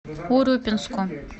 урюпинску